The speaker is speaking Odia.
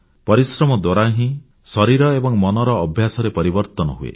ପରିଶ୍ରମ ଦ୍ୱାରା ହିଁ ଶରୀର ଏବଂ ମନର ଅଭ୍ୟାସରେ ପରିବର୍ତ୍ତନ ହୁଏ